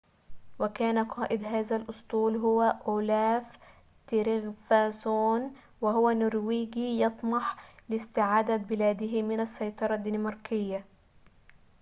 وكان قاد هذا الأسطول هو أولاف تريغفاسون وهو نرويجي يطمح لاستعادة بلاده من السيطرة الدنماركية